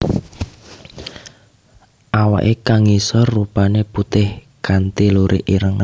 Awake kang ngisor rupané putih kanthi lurik ireng